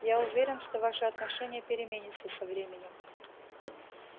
я уверен что ваше отношение переменится со временем